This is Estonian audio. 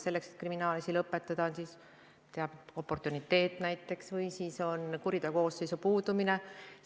Selleks et kriminaalasi lõpetada, peab olema oportuniteet või siis on põhjus kuriteokoosseisu puudumine.